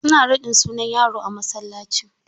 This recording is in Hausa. Su na raɗin sunan yaro a masallaci.